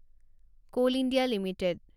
coal India limited